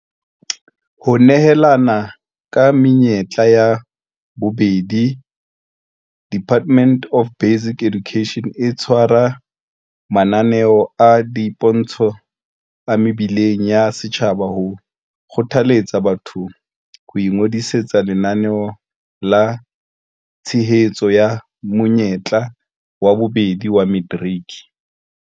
Ho nehelana ka menyetla ya bobedi DBE e tshwara mananeo a dipontsho a mebileng ya setjhaba ho kgothaletsa batho ho ingodisetsa Lenaneo la Tshehetso la Monyetla wa Bobedi wa Materiki.